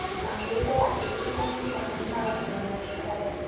Matilda Juliyenning dafn marosimini uyushtiradi.